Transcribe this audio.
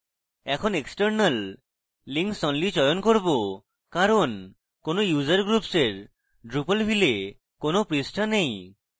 এখন external links only চয়ন করব কারণ কোনো user groups এর drupalville a কোনো পৃষ্ঠা নেই